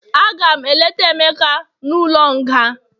Agam eleta emeka n'ulo nga